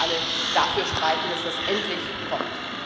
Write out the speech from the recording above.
Darum müssen wir alle dafür streiten, dass das endlich kommt.